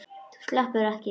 Þú sleppur ekki!